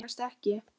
Mínar vegast ekki.